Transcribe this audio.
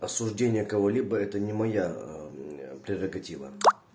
осуждение кого-либо это не моя прерогатива